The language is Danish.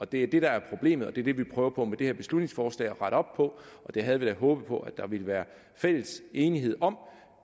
det er det der er problemet og det er det vi prøver på med det her beslutningsforslag at rette op på og det havde vi da håbet på at der ville være enighed om